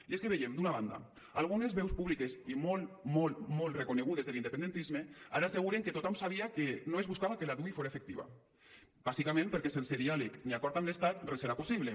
i és que veiem d’una banda algunes veus públiques i molt molt molt reconegudes de l’independentisme ara asseguren que tothom sabia que no es buscava que la dui fora efectiva bàsicament perquè sense diàleg ni acord amb l’estat res serà possible